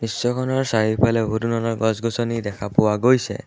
দৃশ্যখনৰ চাৰিওফালে বহু ধৰণৰ গছ-গছনি দেখা পোৱা গৈছে।